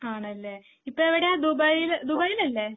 ആണല്ലേ? ഇപ്പോ എവിടെയാ ദുബായ് ദുബൈയിലല്ലേ?